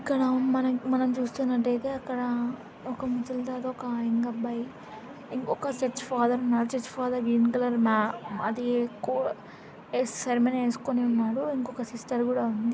ఇక్కడ మనం_మనం చూస్తున్నట్టైతే అక్కడా ఒక ముసలితాత ఒక యంగ్ అబ్బాయి ఇన్-ఒక చర్చ ఫాదర్ ఉన్నారు చర్చ ఫాదర్ గ్రీన్ కలర్ మా అదీ కో యస్ సర్మనీ ఎస్కొని ఉన్నాడు ఇంకొక సిస్టర్ గూడా ఉంది.